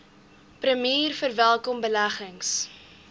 premier verwelkom beleggings